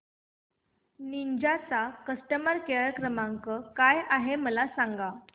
Ninja चा customer care क्रमांक काय आहे मला सांगा